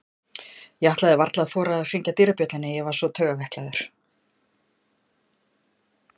Ég ætlaði varla að þora að hringja dyrabjöllunni, ég var svo taugaveiklaður.